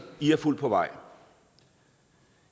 i har fulgt på vej